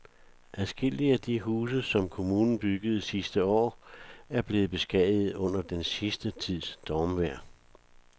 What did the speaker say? Adskillige af de huse, som kommunen byggede sidste år, er blevet beskadiget under den sidste tids stormvejr.